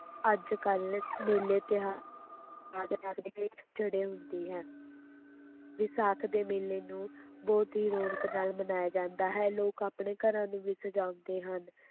ਅੱਜ-ਕੱਲ੍ਹ ਮੇਲੇ, ਤਿਉਹਾ ਚੜ੍ਹੇ ਹੁੰਦੀ ਹੈ ਵਿਸਾਖ ਦੇ ਮੇਲੇ ਨੂੰ ਬਹੁਤ ਹੀ ਰੌਣਕ ਨਾਲ ਮਨਾਇਆ ਜਾਂਦਾ ਹੈ, ਲੋਕ ਆਪਣੇ ਘਰਾਂ ਨੂੰ ਵੀ ਸਜਾਉਂਦੇ ਹਨ,